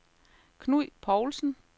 Knud Poulsen